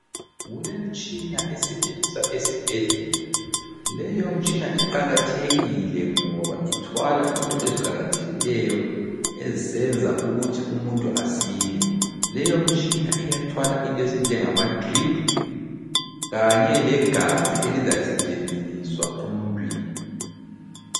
Kulemitshina esetshenziswa esibhedlela. Leyomitshina iqakathekile ngoba ithwala into eziqakathekileyo ezenza ukuthi umuntu asile. Leyo mitshina iyathwala into ezinjengama driphu kanye legazi elizasetshenziswa emuntwini.